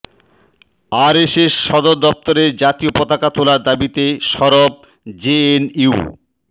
RSS সদর দফতরে জাতীয় পতাকা তোলার দাবিতে সরব জেএনইউ